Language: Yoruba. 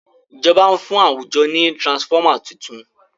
ìjọba n fún àwùjọ ní transformer títún.